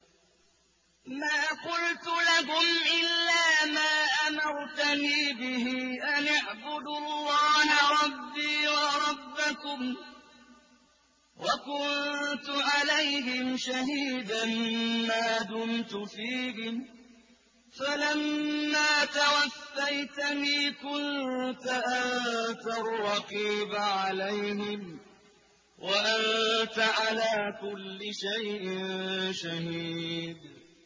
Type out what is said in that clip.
مَا قُلْتُ لَهُمْ إِلَّا مَا أَمَرْتَنِي بِهِ أَنِ اعْبُدُوا اللَّهَ رَبِّي وَرَبَّكُمْ ۚ وَكُنتُ عَلَيْهِمْ شَهِيدًا مَّا دُمْتُ فِيهِمْ ۖ فَلَمَّا تَوَفَّيْتَنِي كُنتَ أَنتَ الرَّقِيبَ عَلَيْهِمْ ۚ وَأَنتَ عَلَىٰ كُلِّ شَيْءٍ شَهِيدٌ